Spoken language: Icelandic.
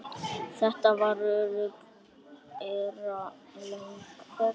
Þetta var óralöng ferð.